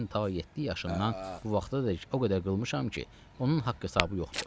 ta yeddi yaşımdan bu vaxtadək o qədər qılmışam ki, onun haqq-hesabı yoxdur.